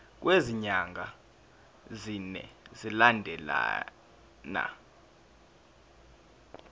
kwezinyanga ezine zilandelana